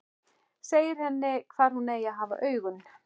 Segir henni hvar hún eigi að hafa augun.